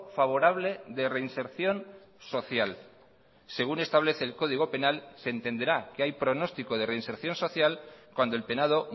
favorable de reinserción social según establece el código penal se entenderá que hay pronóstico de reinserción social cuando el penado